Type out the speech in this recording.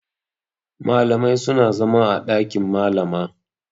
Malamai suna zama a ɗakin Malama.